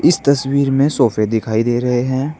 इस तस्वीर में सोफे दिखाई दे रहे हैं।